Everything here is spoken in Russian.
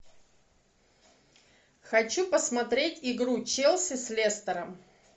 хочу посмотреть игру челси с лестером